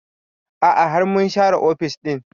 A'a har mun share ofis ɗin